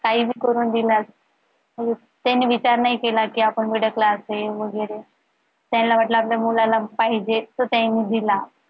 काही पण करून दिला अजून त्यांनी विचार नाही केला कि आपण middle class आहे वगैरे त्यांना वाटलं कि आपल्या मुलाला पाहिजे तर त्यांनी दिला